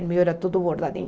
O meu era todo bordadinho.